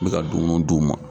N mɛka dumuni d'u ma.